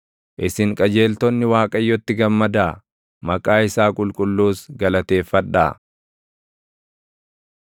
Isin qajeeltonni Waaqayyotti gammadaa; maqaa isaa qulqulluus galateeffadhaa.